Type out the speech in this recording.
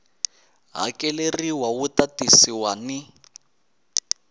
hakeleriwa wu ta tisiwa ni